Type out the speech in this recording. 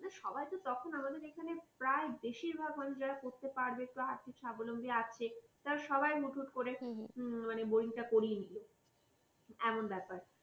সবাই তো তখন আমাদের এখানে প্রায় বেশিরভাগ মানুষ যারা করতে পারবে আর্থিক স্বাবলম্বী আছে তখন সবাই হুটহুট করে boring টা করিয়ে নিল এমন ব্যাপার